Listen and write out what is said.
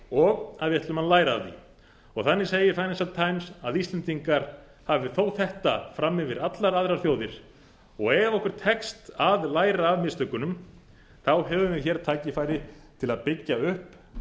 og að við ætlum að læra af því þannig segir financial times að íslendingar hafi þó þetta fram yfir allar aðrar þjóðir og ef okkur tekst að læra af mistökunum höfum við hér tækifæri til að byggja upp